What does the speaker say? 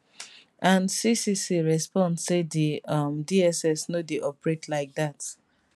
and ccc respond say di um dss no dey operate like dat